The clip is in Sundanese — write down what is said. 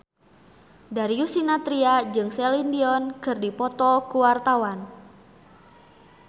Darius Sinathrya jeung Celine Dion keur dipoto ku wartawan